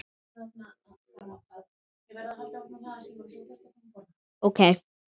Ég orðaði aldrei vonir mínar.